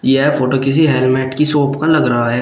यह फोटो किसी हेलमेट की शॉप का लग रहा है।